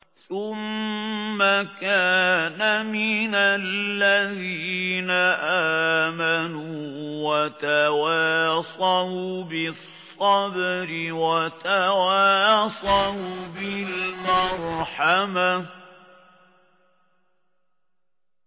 ثُمَّ كَانَ مِنَ الَّذِينَ آمَنُوا وَتَوَاصَوْا بِالصَّبْرِ وَتَوَاصَوْا بِالْمَرْحَمَةِ